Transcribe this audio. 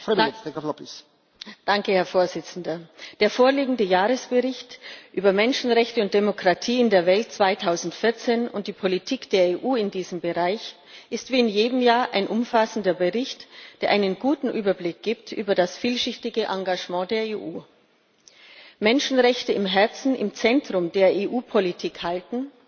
Herr Präsident! Der vorliegende Jahresbericht über Menschenrechte und Demokratie in der Welt 2014 und die Politik der EU in diesem Bereich ist wie in jedem Jahr ein umfassender Bericht, der einen guten Überblick über das vielschichtige Engagement der EU gibt. Menschenrechte im Herzen, im Zentrum der EU Politik halten,